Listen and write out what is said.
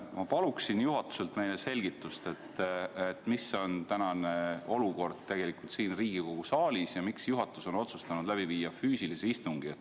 Ma palun juhatusel meile selgitada, milline on tänane tegelik olukord siin Riigikogu saalis ja miks on juhatus otsustanud läbi viia füüsilise istungi.